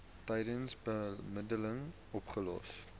tydens bemiddeling opgelos